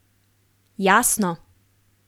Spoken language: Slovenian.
Jasno!